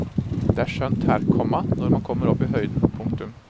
Det er skjønt her, komma når man kommer opp i høyden. punktum